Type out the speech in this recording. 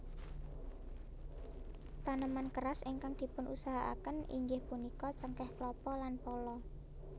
Taneman keras ingkang dipunusahakaken inggih punika cengkeh klapa lan pala